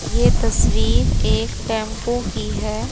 ये तस्वीर एक टेंपू की है।